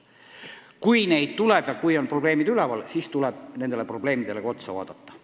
Kui neid tuleb ja kui on probleemid tekkinud, siis tuleb ka nendele otsa vaadata.